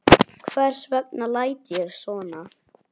Hvers vegna læt ég svona?